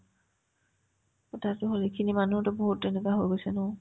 কথাতো হয় কিন্তু মানুহতো বহুত তেনেকা হৈ গৈছে ন